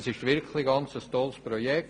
Es ist wirklich ein tolles Projekt.